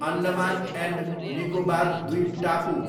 Andaman and Nicobar द्वीपटापु